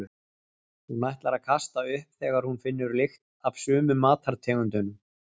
Hún ætlar að kasta upp þegar hún finnur lykt af sumum matartegundum.